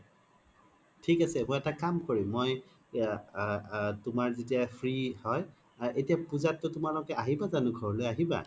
থিক আছে মই এটা কাম কৰিম আ আ তুমাৰ যেতিয়া free হয় এতিয়াই পুজাত তো তুমালোকে আহিবা যানো আহিবা